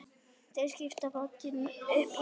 Þær skelltu báðar upp úr.